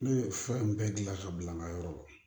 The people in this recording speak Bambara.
Ne ye fura in bɛɛ dilan ka bila n ka yɔrɔ la